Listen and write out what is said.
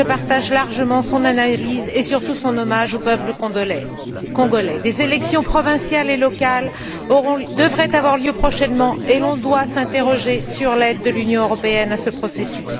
Je partage largement son analyse et, surtout, son hommage au peuple congolais. Des élections provinciales et locales devraient avoir lieu prochainement et l'on doit s'interroger sur l'aide de l'Union européenne à ce processus.